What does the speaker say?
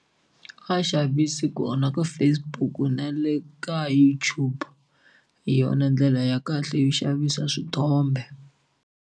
A xavisi kona ka Facebook na le ka YouTube hi yona ndlela ya kahle yo xavisa swithombe.